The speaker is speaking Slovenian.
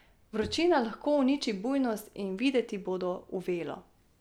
Vročina lahko uniči bujnost, in videti bodo uvelo.